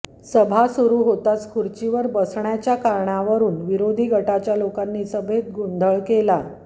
सभा सुरू होताच खुर्चीवर बसण्याचा कारणावरुन विरोधी गटाच्या लोकांनी सभेत गोधळ केला